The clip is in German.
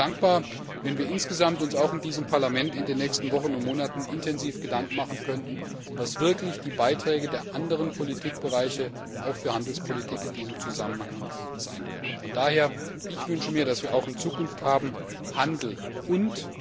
Ich wäre sehr dankbar, wenn wir uns auch in diesem Parlament in den nächsten Wochen und Monaten intensiv Gedanken machen könnten, was die Beiträge der anderen Politikbereiche auch für Handelspolitik in diesem Zusammenhang sein können. Von daher wünsche ich mir, dass wir auch in Zukunft sagen Handel und...